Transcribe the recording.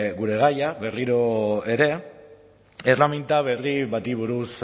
gure gaia berriro ere erreminta berri bati buruz